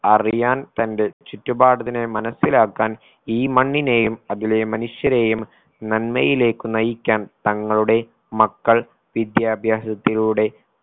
അറിയാൻ തന്റെ ചുറ്റുപാടത്തിനെ മനസിലാക്കാൻ ഈ മണ്ണിനേയും അതിലെ മനുഷ്യനെയും നന്മയിലേക്കു നയിക്കാൻ തങ്ങളുടെ മക്കൾ വിദ്യാഭ്യാസത്തിലൂടെ